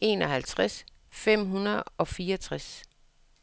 enoghalvtreds fem hundrede og fireogtres